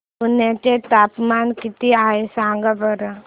पुर्णा चे तापमान किती आहे सांगा बरं